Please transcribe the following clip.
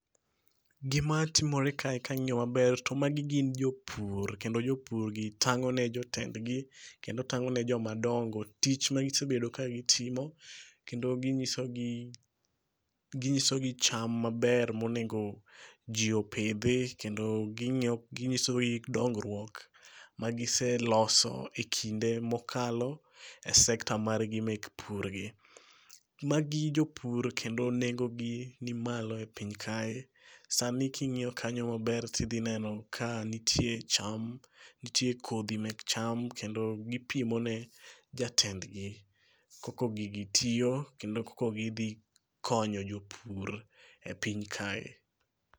Gima timore kae kangiyo maber to magi gin jopur, kendo jopur gi tang'o ne jotend gi kendo tang'o ne joma dongo tich ma gisebedo ka gitimo kendo ginyiso gi, ginyiso gi cham maber mowinjo jii opidhi kendo ginyiso gi dongruok ma giseloso e kinde mokalo e sekta margi mek pur gi. Magi jopur kendo nengogi nimalo e piny kae. Sani king'iyo kanyo maber tidhi neno ka nitie cham, nitie kodhi mek cham kendo gipimo ne jatend gi koko gigi tiyo kendo koko gidho konyo jopur e piny kae